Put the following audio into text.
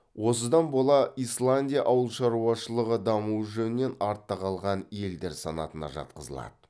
осыдан бола исландия ауыл шаруашылығы дамуы жөнінен артта қалған елдер санатына жатқызылады